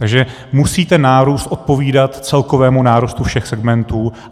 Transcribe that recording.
Takže musí ten nárůst odpovídat celkovému nárůstu všech segmentů.